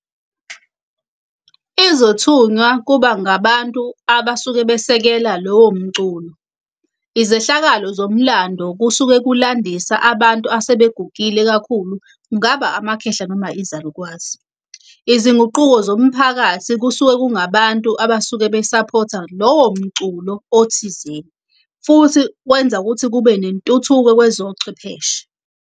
Izothunya kuba ngabantu abasuke besekela lowo mculo. Izehlakalo zomlando kusuke kulandisa abantu asebegugile kakhulu. Kungaba amakhehla noma izalukwazi. Izinguquko zomphakathi kusuke kungabantu abasuke besaphotha lowo mculo othizeni, futhi kwenza ukuthi kube nentuthuko kwezochwepheshe.